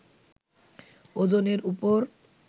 ওজনের উপর